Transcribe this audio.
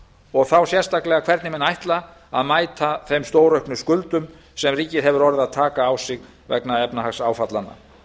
og þá sérstaklega hvernig menn ætla að mæta þeim stórauknu skuldum sem ríkið hefur orðið að taka á sig vegna efnahagsáfallanna